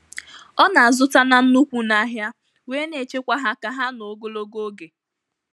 Ọ na-azụta na nnukwu n'ahịa, wee na-echekwa ha ka hh nụọ ogologo oge.